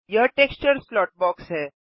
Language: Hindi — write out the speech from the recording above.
यह टेक्सचर स्लॉट बॉक्स है